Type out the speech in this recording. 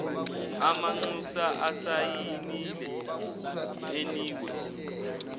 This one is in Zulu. amanxusa asayinile enikwe